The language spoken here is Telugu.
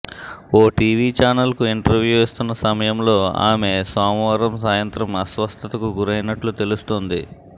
ఓ టీవీ ఛానల్కు ఇంటర్వూ ఇస్తున్న సమయంలో ఆమె సోమవారం సాయంత్రం అస్వస్థతకు గురైనట్లు తెలుస్తోంది